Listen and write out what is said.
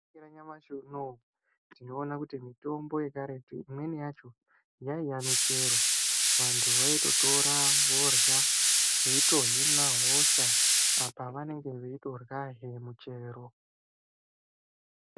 Mukore wa nyamashi unowu tinoona kuti mitombo ye karetu imweni yacho yaiya michero vantu vaito tora vorya veito hina hosha apa vanenge vei torya zve muchero.